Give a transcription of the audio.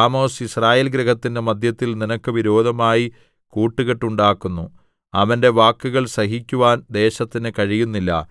Amos യിസ്രായേൽ ഗൃഹത്തിന്റെ മദ്ധ്യത്തിൽ നിനക്ക് വിരോധമായി കൂട്ടുകെട്ടുണ്ടാക്കുന്നു അവന്റെ വാക്കുകൾ സഹിക്കുവാൻ ദേശത്തിന് കഴിയുന്നില്ല